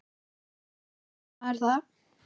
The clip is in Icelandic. Og hvernig gerir maður það?